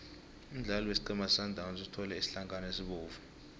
umdlali wesiqhema sesundowns uthole isitlankana esibovu